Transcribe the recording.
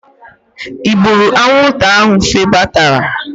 I gburu anwụnta ahụ febatara?